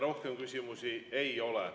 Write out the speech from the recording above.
Rohkem küsimusi ei ole.